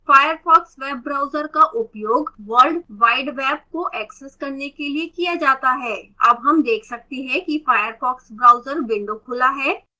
firefox web browser का उपयोग world wide web को access करने के लिए किया जाता है अब हम web सकते हैं कि firefox browser विंडो खुला है